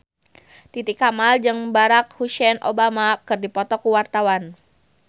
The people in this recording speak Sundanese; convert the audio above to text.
Titi Kamal jeung Barack Hussein Obama keur dipoto ku wartawan